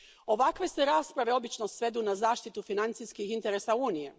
Ovakve se rasprave obično svedu na zaštitu financijskih interesa Unije.